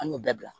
An y'o bɛɛ bila